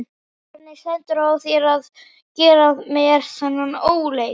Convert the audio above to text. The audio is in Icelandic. Hvernig stendur á þér að gera mér þennan óleik?